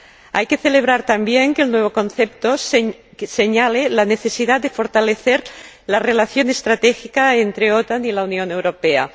Hay que celebrar también que el nuevo concepto señale la necesidad de fortalecer la relación estratégica entre la OTAN y la Unión Europea.